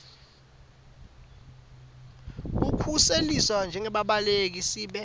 kukhuseliswa njengembaleki sibe